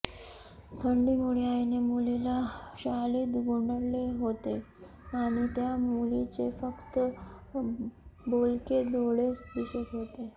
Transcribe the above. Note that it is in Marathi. थंडीमुळे आईने मुलीला शालीत गुंडाळले होते आणि त्या मुलीचे फक्त बोलके डोळेच दिसत होते